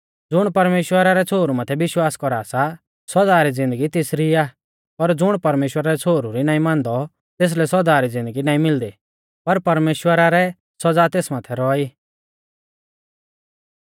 ज़ुण परमेश्‍वरा रै छ़ोहरु माथै विश्वास कौरा सा सौदा री ज़िन्दगी तेसरी आ पर ज़ुण परमेश्‍वरा रै छ़ोहरु री नाईं मानदौ तेसलै सौदा री ज़िन्दगी नाईं मिलदी पर परमेश्‍वरा रै सौज़ा तेस माथै रौआ ई